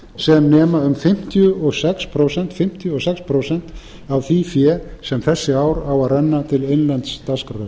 sem nema um fimmtíu og sex prósent af því fé sem þessi ár á að renna til innlends dagskrárefnis